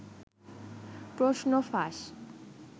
প্রশ্ন ফাঁস